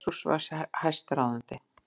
Jesús var hæstráðandi.